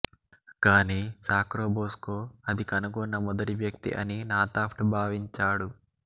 కానీ సాక్రోబోస్కో అది కనుగొన్న మొదటి వ్యక్తి అని నాథాఫ్ట్ భావించాడు